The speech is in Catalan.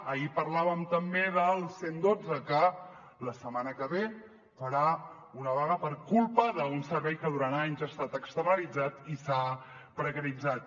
ahir parlàvem també del cent i dotze que la setmana que ve farà una vaga per culpa d’un servei que durant anys ha estat externalitzat i s’ha precaritzat